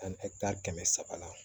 kɛmɛ saba la